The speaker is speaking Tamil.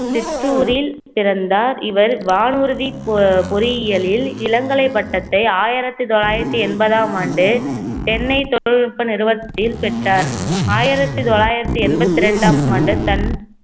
சிற்றூரில் பிறந்தார் இவர் வானூர்தி பொ~ பொறியியலில் இளங்கலை பட்டத்தை ஆயிரத்தி தொள்ளாயிரத்தி எண்பதாம் ஆண்டு சென்னை தொழில்நுட்ப நிறுவனத்தில் பெற்றார் ஆயிரத்தி தொள்ளாயிரத்தி எண்பத்தி ரெண்டாம் ஆண்டு தன்